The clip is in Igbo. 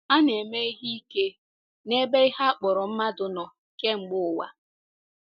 A na-eme ihe ike n'ebe ihe a kpọrọ mmadụ nọ kemgbe ụwa.